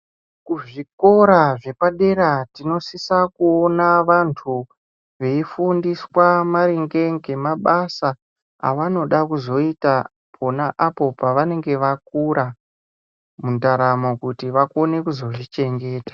Kuzvikora zvepadera tinosisa kuona vantu veifundiswa maringe ngemabasa avanoda kuzoita pona apo pavanenge vakura mundaramo kuti vakone kuzozvichengeta.